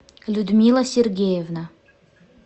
людмила сергеевна